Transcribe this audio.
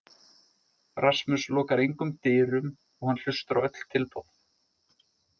Rasmus lokar engum dyrum og hann hlustar á öll tilboð.